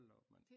Hold da op mand